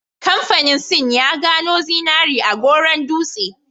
Kamfanin sin ya gano zinari a Goron Dutse